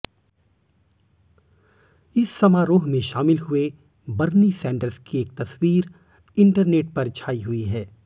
इस समारोह में शामिल हुए बर्नी सैंडर्स की एक तस्वीर इंटरनेट पर छाई हुई है